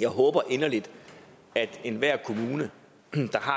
jeg håber inderligt at enhver kommune der har